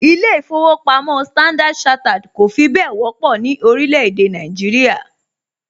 ilé īfowòpamó Standard chartered kọ̀ fi bẹ́ẹ̀ wọ́pọ̀ ní orílẹ̀ èdè Nàìjíríà